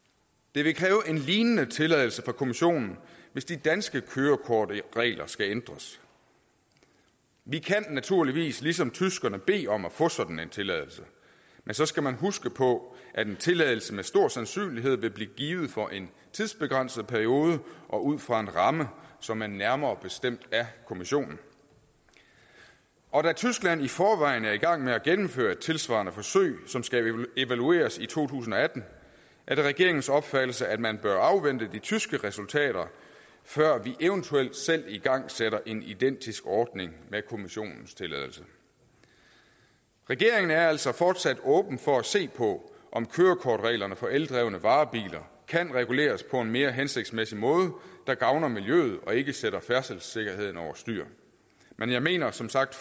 det vil kræve en lignende tilladelse fra kommissionen hvis de danske kørekortregler skal ændres vi kan naturligvis ligesom tyskerne bede om at få sådan en tilladelse men så skal man huske på at en tilladelse med stor sandsynlighed vil blive givet for en tidsbegrænset periode og ud fra en ramme som er nærmere bestemt af kommissionen og da tyskland i forvejen er i gang med at gennemføre et tilsvarende forsøg som skal evalueres i to tusind og atten er det regeringens opfattelse at man bør afvente de tyske resultater før vi eventuelt selv igangsætter en identisk ordning med kommissionens tilladelse regeringen er altså fortsat åben for at se på om kørekortreglerne for eldrevne varebiler kan reguleres på en mere hensigtsmæssig måde der gavner miljøet og ikke sætter færdselssikkerheden over styr men jeg mener som sagt